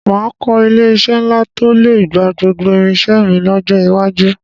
Màá kọ́ ilé-iṣẹ́ ńlá tó lè gba gbogbo irinṣẹ́ mi lọ́jọ́ iwájú